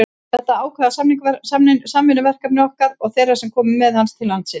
Þetta er ákveðið samvinnuverkefni milli okkar og þeirra sem komu með hann til landsins.